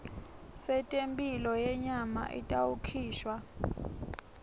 setemphilo yenyama itawukhishwa